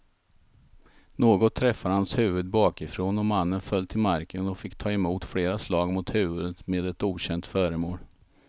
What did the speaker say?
Något träffade hans huvud bakifrån och mannen föll till marken och fick ta emot flera slag mot huvudet med ett okänt föremål.